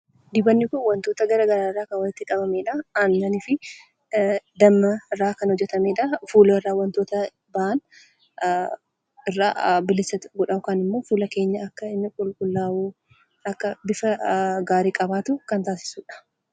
Dibatni Kun waantota garaagaraa irraa kan walitti qabamedha. Innis aannanii fi damma irraa kan hojjetamedha. Fuula irraa waantota taa'an irraa bilisa godha yookaan immoo fuula keenya akka inni qulqullaa'u, akka bifa gaarii akka qabaatu kan taasisudha.